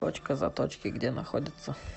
точка заточки где находится